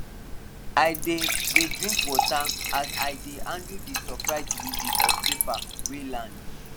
i dey dey drink water as i dey handle the surprise delivery of paper wey land